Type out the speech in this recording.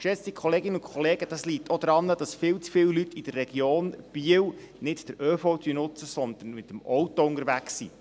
Geschätzte Kolleginnen und Kollegen, das liegt auch daran, dass viel zu viel Leute in der Region Biel nicht den ÖV nutzen, sondern mit dem Auto unterwegs sind.